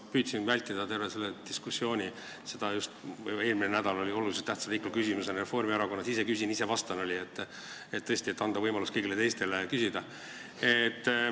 Ma püüdsin vältida terve selle diskussiooni jooksul seda, mis toimus eelmisel nädalal oluliselt tähtsa riikliku küsimuse arutelul, kus Reformierakond käitus stiilis "ise küsin, ise vastan", et tõesti anda võimalus ka kõigile teistele küsida.